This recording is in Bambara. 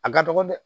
A ka dɔgɔ dɛ